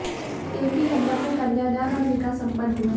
एक ही मंडप में कन्यादान और निकाह संपन्न हुए